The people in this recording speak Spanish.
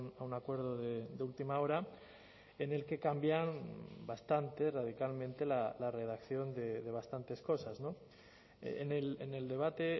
a un acuerdo de última hora en el que cambian bastante radicalmente la redacción de bastantes cosas en el debate